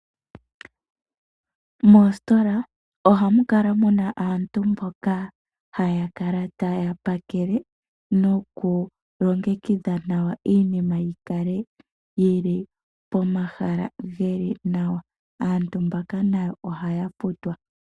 Moositola ohamu kala mu na aantu mboka haya kala taya pakele nokulongekidha nawa iinima yi kale yi li pomahala ge li nawa. Aantu mbaka nayo ohaya futwa.